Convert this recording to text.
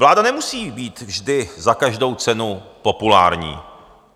Vláda nemusí být vždy za každou cenu populární.